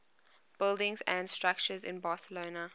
buildings and structures in barcelona